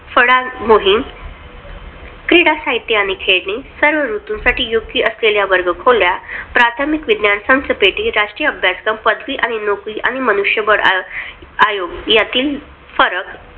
फळा मोहीम क्रीडा साहित्य आणि खेळणी सर्व ऋतूंसाठी योग्य असलेल्या वर्गखोल्या प्राथमिक विज्ञान संच पेटी राष्ट्रीय अभ्यासक्रम पदवी आणि नोकरी आणि मनुष्यबळ नियोजन यातील फरक